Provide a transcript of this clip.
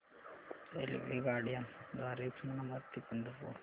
रेल्वेगाड्यां द्वारे उस्मानाबाद ते पंढरपूर